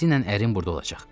Tezliklə ərin burda olacaq.